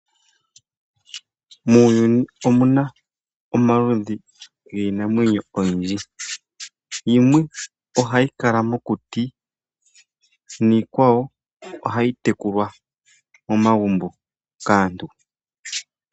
Muuyuni omuna omaludhi giinamwenyo oyindji yimwe, ohayi kala mokuti niikwawo ohayi tekulwa momagumbo kaantu.